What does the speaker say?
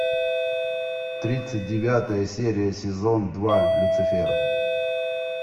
тридцать девятая серия сезон два люцифер